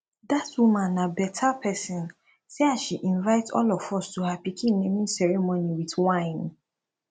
dat woman na beta person see as she invite all of us to her pikin naming ceremony with wine